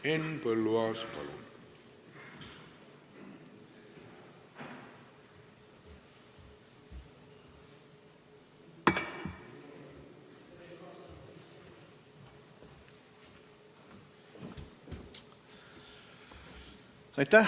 Henn Põlluaas, palun!